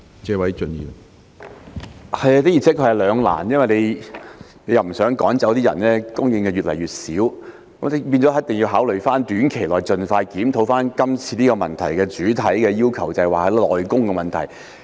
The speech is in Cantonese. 這的而且確是兩難，因為當局不想趕走那些外傭，以免供應越來越少，所以一定要考慮在短期內，盡快研究主體質詢提出的要求，即內傭的問題。